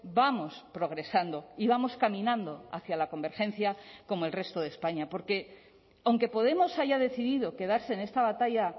vamos progresando y vamos caminando hacia la convergencia como el resto de españa porque aunque podemos haya decidido quedarse en esta batalla